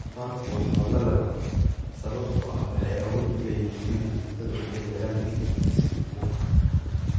Doofaarku waa xoolo la dhaqdo, sababtoo ah waxay awood u leeyihiin inay cuntada u beddelaan hilib si hufan.